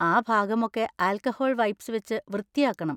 ആ ഭാഗമൊക്കെ alcohol wipes വെച്ച് വൃത്തിയാക്കണം.